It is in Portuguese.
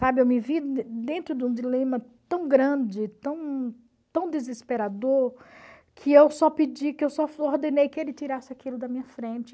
Sabe, eu me vi dentro de um dilema tão grande, tão desesperador, que eu só pedi, que eu só ordenei que ele tirasse aquilo da minha frente.